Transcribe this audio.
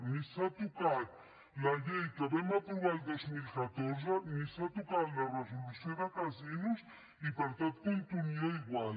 ni s’ha tocat la llei que vam aprovar el dos mil catorze ni s’ha tocat la resolució de casinos i per tant continua igual